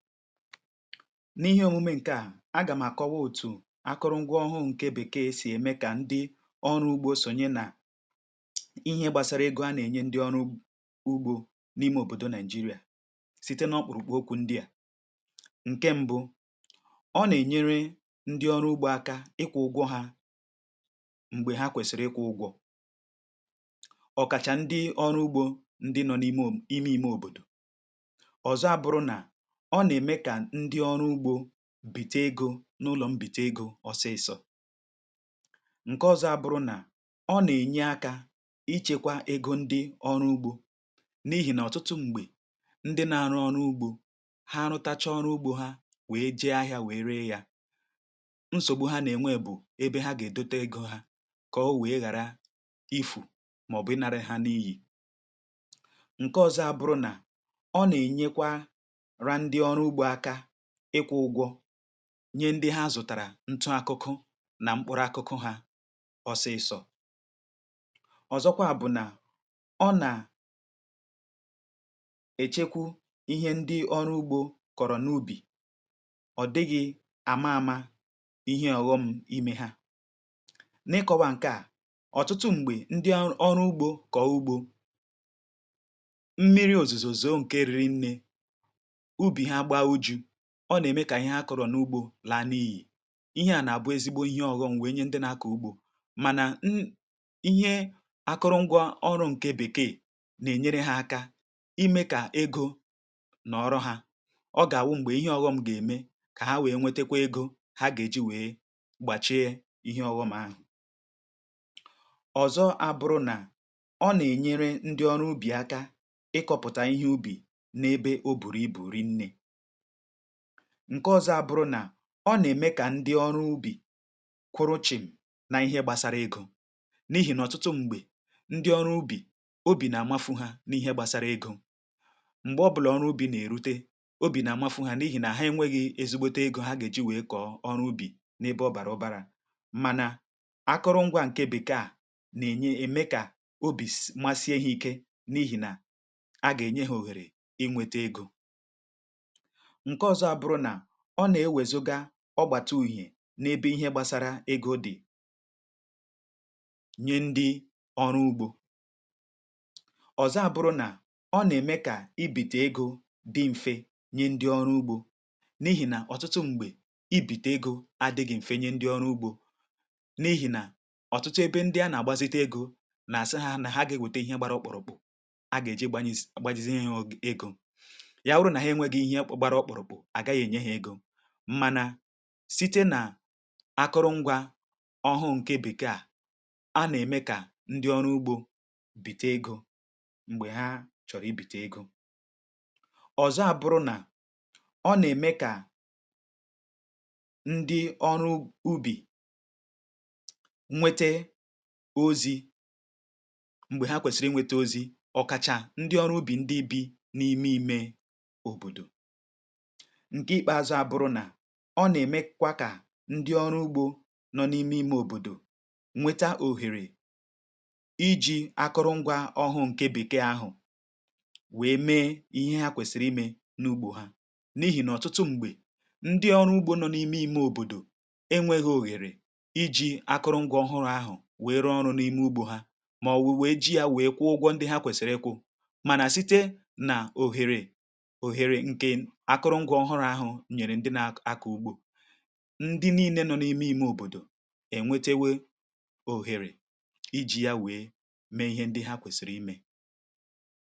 n’ihe omume nke à agà m̀ àkọwa òtù akụrụ ngwa ọhụụ ǹke bèkeė sì ème kà ndị ọrụ ugbo sònyè nà ihe gbasara ego a nà-ènye ndị ọrụ ugbȯ n’ime òbòdò nigeria site n’ọkpụ̀rụ̀kpụ̀ okwu ndị à ǹke mbụ ọ nà-ènyere ndị ọrụ ugbȯ aka ịkwụ̇ ụgwọ hȧ m̀gbè ha kwèsìrì ịkwụ̇ ụgwọ̇ ọ̀kàchà ndị ọrụ ugbȯ ndị nọ̇ n’ime um ime ime òbòdò ọ̀zọ abụrụ na o na eme ka ndi oru ugbo bite egȯ n’ụlọ m bite egȯ ọsịsọ̇ ṅ̀ke ọ̇zọ̇ àbụrụ nà ọ nà-ènye akȧ ichėkwȧ egȯ ndị ọrụ ugbȯ n’ihì nà ọ̀tụtụ m̀gbè ndị na-arụ ọrụ ugbȯ ha anụtacha ọrụ ugbȯ ha wèe jee ahịȧ wèe ree yȧ nsògbu ha nà-ènwe bụ̀ ebe ha gà-èdote egȯ ha kà o wèe ghàra ifù màọ̀bụ ịnara ha n’iyì nye nke ozo aburu na o na enyekwa ra ndi oru ugbo aka ikwu ugwo nyee ndị ha zụtara ntụ akụkụ na mkpụrụ akụkụ ha ọsịsọ ọzọkwa bụ na ọ na echekwu ihe ndị ọrụ ugbo kọrọ n’ubi ọ dịghị ama ama ihe aghọm ime ha n’ikọwa nke a ọtụtụ mgbe ndị o ọrụ ugbo kọo ugbo mmiri ozizò zòo nke rírinne ubi ha gbá ujú ọ nà-ème kà ihe ha kọrọ̀ n’ugbȯ laa n’iyì ihe à nà-àbụ ezigbo ihe ọ̇ghọ̇ m̀wee nye ndị na-akọ̀ ugbȯ mànà n ihe akụrụ̇ṅgwȧ ọrụ̇ ǹkè bèkee nà-ènyere ha aka imė kà egȯ nọ̀ọrọ hȧ ọ gà-àwụ m̀gbè ihe ọ̇ghọ̇m ga ème kà ha wee nwetekwa egȯ ha gà-èji wèe gbàchie ihe ọ̇ghọ̇ m̀ ahụ̀ ọ̀zọ abụrụ̇ nà ọ nà-ènyere ndị ọrụ ubì aka ịkọ̇pụ̀tà ihe ubì n’ebe o bùrù ibù ri nne ǹke ọzọ abụrụ nà ọ nà-ème kà ndị ọrụ ubì kwuru chịm na ihe gbasara egȯ n’ihì nà ọtụtụ m̀gbè ndị ọrụ ubì obì nà-àmafu ha n’ihe gbasara egȯ m̀gbè ọ bụlà ọrụ ubì nà-èrute obì nà-àmafu ha n’ihì nà ha enwėghi̇ ezigbote egȯ ha gà-èji wèe kọ̀ọ ọrụ ubì n’ebe ọ bàrà ọbarȧ mànà akụrụngwa ǹke bèkee à nà-ènye ème kà obì masi ehi̇ ike n’ihì nà a gà-ènye ha òhèrè inwėtȧ egȯ nke ozo aburu na ọ nà-ewezogá ọ gbàtà uhi̇ n’ ebe ihe gbasara egȯ dị̀ nye ndị ọrụ ugbȯ ọ̀zọ àbụrụ nà ọ nà-ème kà i bìtè egȯ dị m̀fe nye ndị ọrụ ugbȯ n’ ihì nà ọ̀tụtụ m̀gbè i bìtè egȯ adị̇ghị̇ m̀fe nye ndị ọrụ ugbȯ n’ ihì nà ọ̀tụtụ ebe ndị a nà-àgbazite egȯ nà-àsị hȧ nà ha gà-eweta ihe gbàra ọkpurụ̀kpụ̀ a gà-èji gbanyezi agbajizi ihe hȧ egȯ ya wuru na ha enwegi ihe gbara ọkpurụ̀kpụ̀ a gahi enye ha ego mmana site nà akụrụ ngwȧ ọhụụ ǹke bèkee à a nà-ème kà ndị ọrụ ugbȯ bìte egȯ m̀gbè ha chọ̀rọ̀ i bìte egȯ ọ̀zọ àbụrụ nà ọ nà-ème kà ndị ọrụ ubì nwete ozi̇ m̀gbè ha kwèsìrì ị nwete ozi̇ ọ̀kàchà ndị ọrụ ubì ndị ubì n’ime ìme òbòdò nke ikpazu aburu na ọ nà-èmekwa kà ndị ọrụ ugbȯ nọ n’ime ime òbòdò nweta òhèrè iji̇ akụrụngwa ọhụrụ ǹke bìke ahụ̀ wee mee ihe ha kwèsìrì imė n’ugbȯ ha n’ihì nà ọ̀tụtụ m̀gbè ndị ọrụ ugbȯ nọ n’ime ime òbòdò enwėghi̇ òhèrè iji̇ akụrụngwa ọhụrụ ahụ̀ wee ree ọrụ n’ime ugbȯ ha màọ̀wụ̀ wèe ji ya wèe kwụọ ụgwọ ndị ha kwèsìrì ikwu̇ mànà site nà òhèrè òhèrè ke akuru ngwa ohuru ahu nyere ndi na ako ugbo ǹdị nii̇ne nọ̇ n’imi ime òbòdò ènwetowe òhèrè iji̇ ya wèe mee ihe ndị ha kwèsìrì imė